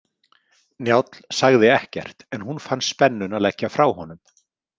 Njáll sagði ekkert en hún fann spennuna leggja frá honum.